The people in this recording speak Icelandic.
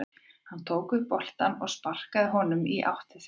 Hann tók upp boltann og sparkaði honum í átt til þeirra.